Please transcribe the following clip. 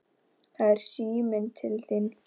Það er síminn til þín.